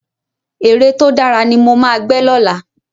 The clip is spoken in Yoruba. Ère tó dára ni mo ma gbẹ́ lọ́la